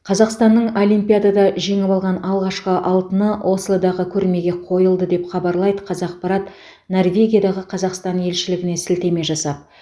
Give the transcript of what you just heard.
қазақстанның олимпиадада жеңіп алған алғашқы алтыны ослодағы көрмеге қойылды деп хабарлайды қазақпарат норвегиядағы қазақстан елшілігіне сілтеме жасап